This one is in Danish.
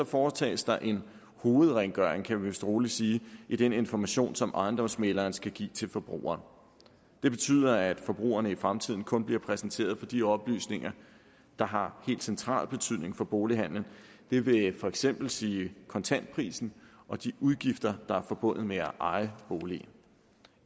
foretages der en hovedrengøring kan vi vist roligt sige i den information som ejendomsmægleren skal give til forbrugerne det betyder at forbrugerne i fremtiden kun bliver præsenteret for de oplysninger der har helt central betydning for bolighandelen det vil for eksempel sige kontantprisen og de udgifter der er forbundet med at eje boligen